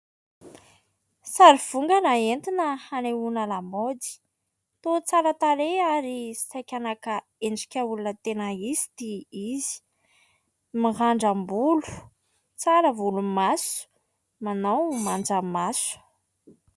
Sary vongana entina hanehoana lamaody, toa tsara tarehy ary saika naka endrika olona tena izy ity izy, mirandram-bolo, tsara volomaso, manao manjamaso.